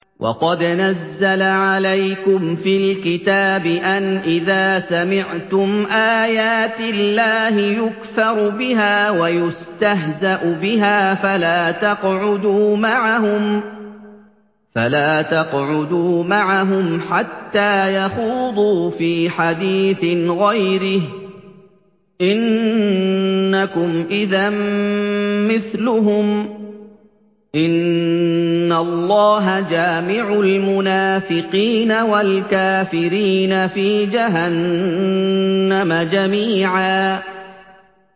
وَقَدْ نَزَّلَ عَلَيْكُمْ فِي الْكِتَابِ أَنْ إِذَا سَمِعْتُمْ آيَاتِ اللَّهِ يُكْفَرُ بِهَا وَيُسْتَهْزَأُ بِهَا فَلَا تَقْعُدُوا مَعَهُمْ حَتَّىٰ يَخُوضُوا فِي حَدِيثٍ غَيْرِهِ ۚ إِنَّكُمْ إِذًا مِّثْلُهُمْ ۗ إِنَّ اللَّهَ جَامِعُ الْمُنَافِقِينَ وَالْكَافِرِينَ فِي جَهَنَّمَ جَمِيعًا